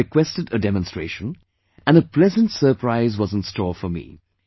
So I requested a demonstration and a pleasant surprise was in store for me